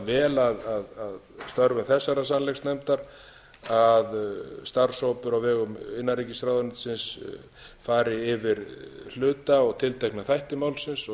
vel að störfum þessarar sannleiksnefndar að starfshópur á vegum innanríkisráðuneytisins fari yfir hluta og tiltekna þætti málsins og